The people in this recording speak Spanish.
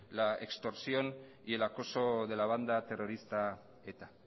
la extorsión y el acoso de la banda terrorista eta